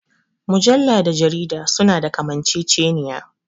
Mujalla da jarida su na da kamanceceniya